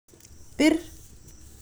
Bir